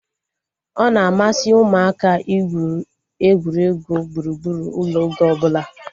Ọ na-amasị ụmụaka igwu egwuregwu gburugburu ụlọ oge ọbụla